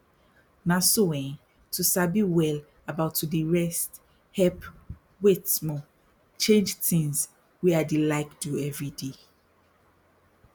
na so eh to sabi well about to dey rest help wait small me change tins wey i dey like do everyday